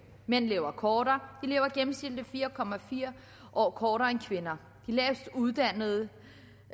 mænd lever kortere lever gennemsnitligt fire år kortere end kvinder den lavestuddannede